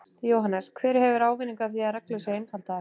Jóhannes: Hver hefur ávinning af því að reglur séu einfaldaðar?